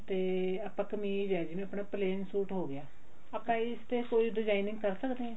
ਤੇ ਆਪਣਾ ਕਮੀਜ਼ ਆ ਜਿਵੇਂ ਆਪਣਾ plain ਸੂਟ ਹੋ ਗਿਆ ਆਪਾਂ ਇਸ ਤੇ ਕੋਈ designing ਕਰ ਸਕਦੇ ਹਾਂ